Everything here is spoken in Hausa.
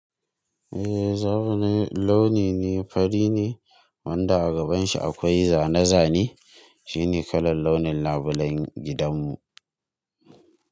Eh, zaru ne, launi ne, fari ne wanda a gaban shi akwai zane-zane. Shi ne kalar launin labulayen gidan mu.